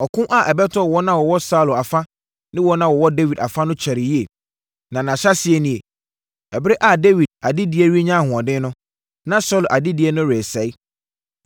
Ɔko a ɛbɛtɔɔ wɔn a wɔwɔ Saulo afa ne wɔn a wɔwɔ Dawid afa no kyɛree yie, na ne ahyɛaseɛ nie. Ɛberɛ a Dawid adedie renya ahoɔden no, na Saulo adedie no resɛe.